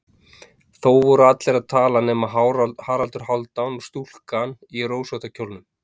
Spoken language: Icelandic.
Þó voru allir að tala nema Haraldur Hálfdán og stúlkan í rósótta kjólnum.